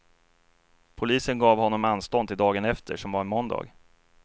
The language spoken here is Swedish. Polisen gav honom anstånd till dagen efter, som var en måndag.